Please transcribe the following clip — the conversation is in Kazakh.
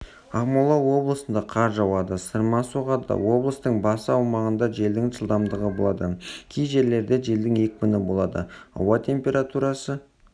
ақмола облысында қар жауады сырма соғады облыстың басы аумағында желдің жылдамдығы болады кей жерлерінде желдің екпіні болады ауа температурасы